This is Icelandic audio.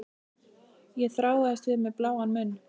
Ég þráaðist við með bláan munn.